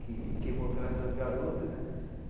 que queimou aquelas duas garotas né.